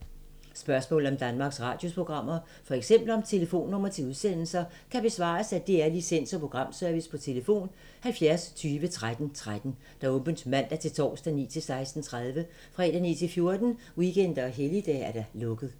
Spørgsmål om Danmarks Radios programmer, f.eks. om telefonnumre til udsendelser, kan besvares af DR Licens- og Programservice: tlf. 70 20 13 13, åbent mandag-torsdag 9.00-16.30, fredag 9.00-14.00, weekender og helligdage: lukket.